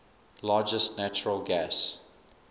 largest natural gas